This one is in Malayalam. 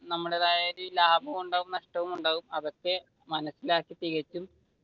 നമ്മുടേതായ ലാഭവും ഉണ്ടാവും നഷ്ടവും ഉണ്ടാവും ഇതൊക്കെ മനസിലാക്കി ചെയ്‍തിട്ട്